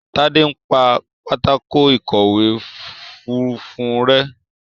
Tade npá Pátákó ìkọ̀wé funfun rẹ.